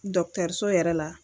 Dɔkitɛriso yɛrɛ la